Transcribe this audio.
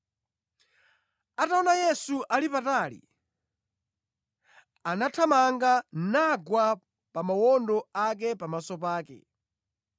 Ataona Yesu ali patali, anathamanga nagwa pa mawondo ake pamaso pake.